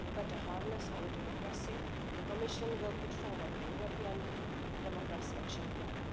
To better harness our democracy, the Commission will put forward a European democracy action plan.